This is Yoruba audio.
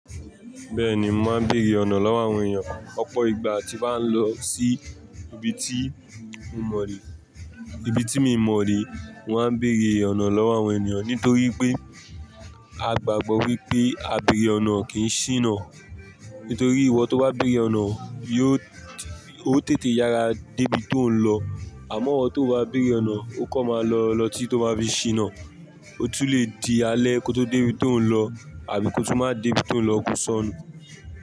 Bẹ́ẹ̀ni, mò ma ń béèrè ọ̀nà lọ́wọ́ àwọn èèyàn. Ọ̀pọ̀ ìgbà tí bà ń lọ sí ibi tí mo mò rí, ibi tí mii mọ̀ rí, mò ń béèrè ọ̀nà lọ́wọ́ àwọn ènìyàn nítorí pé a gbàgbọ́ wípé á béèrè ọ̀nà o kì n ṣìnà. Nítorí ìwọ tó bá béèrè ọ̀nà, yóò, oo tètè yára dé ibi tó ń lọ. Àmọ́ ìwọ tó bá béèrè ọ̀nà, ó kọ̀ má lọ lọ tí tó má fi ṣìnà. Ó tún le di alẹ́ kó tó dé ibi tó ń lọ àbí kó tún má dé ibi tó ń lọ kó sọnù.